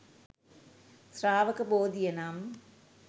ශ්‍රාවක බෝධිය නම්